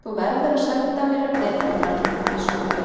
Þú verður að senda mér vetrarmann, biskup Jón.